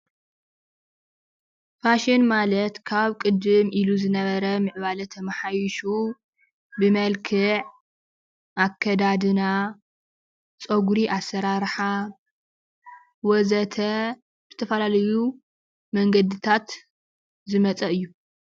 ፋሽን ማለት ካብ ቅድም ኢሉ ዝነበረ ምዕባለ ተማሓይሹ ብመልክዕ ኣከዳድና፣ ፀጉሪ ኣሰራርሓ ወዘተ... ዝተፈላለዩ መንገዲታት ዝመፀ እዩ።